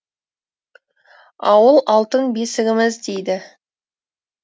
ауыл алтын бесігіміз дейді